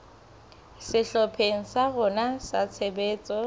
sehlopheng sa rona sa tshebetso